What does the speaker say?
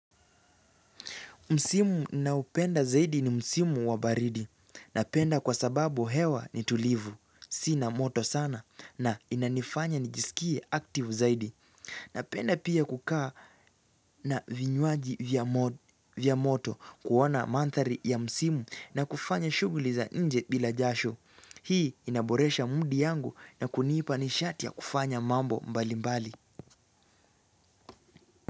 Msimu ninaoupenda zaidi ni Msimu wabaridi. Napenda kwa sababu hewa ni tulivu, si na moto sana na inanifanya nijisikie active zaidi. Napenda pia kukaa na vinywaji vya moto kuona mandhari ya Msimu na kufanya shuguli za nje bila jasho. Hii inaboresha mudi yangu na kunipa nishati ya kufanya mambo mbali mbali.